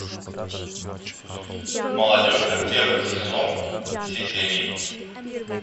молодежка первый сезон все серии